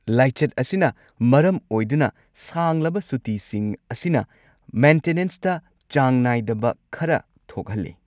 ꯂꯥꯏꯆꯠ ꯑꯁꯤꯅ ꯃꯔꯝ ꯑꯣꯏꯗꯨꯅ ꯁꯥꯡꯂꯕ ꯁꯨꯇꯤꯁꯤꯡ ꯑꯁꯤꯅ ꯃꯦꯟꯇꯦꯅꯦꯟꯁꯇ ꯆꯥꯡ ꯅꯥꯏꯗꯕ ꯈꯔ ꯊꯣꯛꯍꯜꯂꯦ꯫